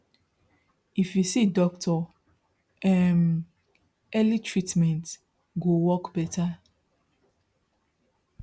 if you see doctor um early treatment go work better